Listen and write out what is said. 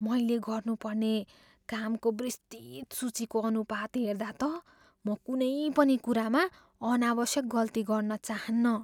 मैले गर्नुपर्ने कामको विस्तृत सूचीको अनुपात हेर्दा त म कुनै पनि कुरामा अनावश्यक गल्ती गर्न चाहान्नँ।